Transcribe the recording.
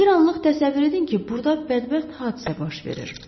Bir anlıq təsəvvür edin ki, burda bədbəxt hadisə baş verir.